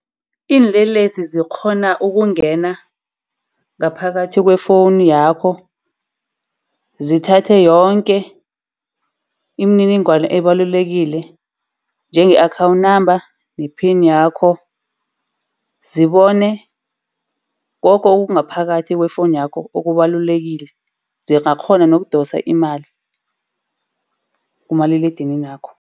Iinlelesi zikghona ukungena ngaphakathi kwefowuni yakho, zithathe yonke imininingwana ebalulekile. Njenge-account number ne-pin yakho. Zibone koke okungaphakathi kwefowunu yakho okubalulekile. Zingakghona nokudosa imali kumaliledininakho.